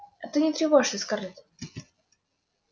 а ты не тревожься скарлетт